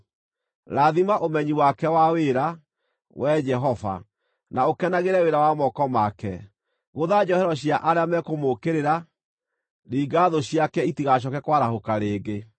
Rathima ũmenyi wake wa wĩra, Wee Jehova, na ũkenagĩre wĩra wa moko make. Gũtha njohero cia arĩa mekũmũũkĩrĩra; ringa thũ ciake itigacooke kwarahũka rĩngĩ.”